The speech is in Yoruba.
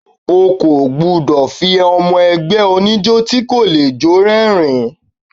O kò gbúdọ̀ fi àwọn ọmọ ẹgbẹ́ oníjó tí kò le jó.